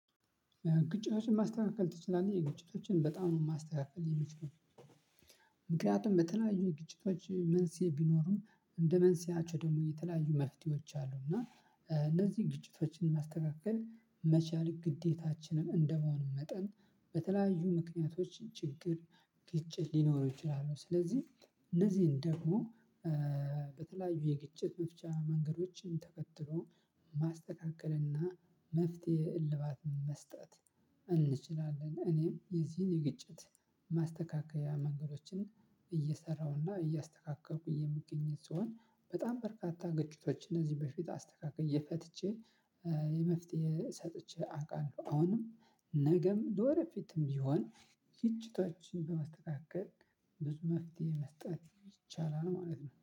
ግጭቶችን ማስተካከል ትችላለህ የግጭቶችን በጣም ነው የማስተካከል የሚችለው? ምክንያቱም በተለያዩ ግጭቶች መንስኤ ቢኖሩም እንደ መንስኤያቸው ደግሞ የተለያዩ መፍትሄዎች አሉ። እና እነዚህ ግጭቶችን ማስተካከል መቻል ግዴታችንም እንደመሆኑ መጠን በተለያዩ ምክንያቶች ችግር ግጭት ሊኖር ይችላሉ። ስለዚህ እነዚህን ደግሞ በተለያዩ የግጭት መፍቻ መንገዶችን ተከትሎ ማስተካከልና መፍትሄ እልባት መስጠት እንችላለን። እኔም የዚህን የግጭት ማስተካከያ መንገዶችን እየሰራሁና እያስተካከልኩ የምገኝ ስሆን በጣም በርካታ ግጭቶች እነዚህ በፊት አስተካክዬ ፈትቼ የመፍትሄ ሰጥቼ አውቃለሁ። አሁንም ነገም ለወደ ፊትም ቢሆን ግጭቶችን በማስተካከል ብዙ መፍትሄ መስጠት ይቻላል ማለት ነው